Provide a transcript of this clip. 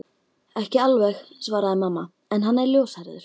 Ekki alveg svaraði mamma, en hann er ljóshærður